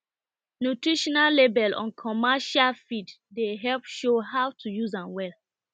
nutrition label on commercial on commercial feed dey help show how to use am well